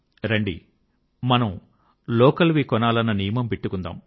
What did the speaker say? రండి మనం లోకల్ వి కొనాలన్న నియమం పెట్టుకుందాం